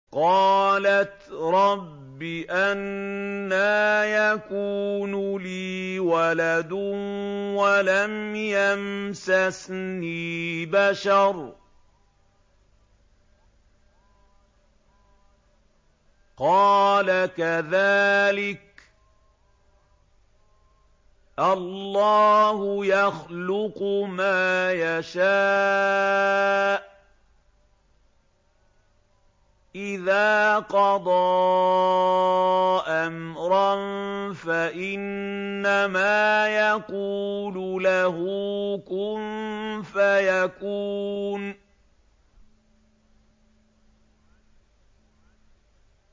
قَالَتْ رَبِّ أَنَّىٰ يَكُونُ لِي وَلَدٌ وَلَمْ يَمْسَسْنِي بَشَرٌ ۖ قَالَ كَذَٰلِكِ اللَّهُ يَخْلُقُ مَا يَشَاءُ ۚ إِذَا قَضَىٰ أَمْرًا فَإِنَّمَا يَقُولُ لَهُ كُن فَيَكُونُ